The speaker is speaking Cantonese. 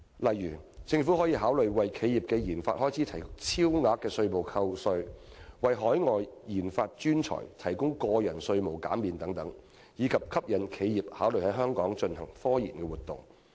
例如，政府可考慮為企業的研發開支提供超額稅務扣減、為海外科研專才提供個人稅務減免等，以吸引企業考慮在香港進行科研活動。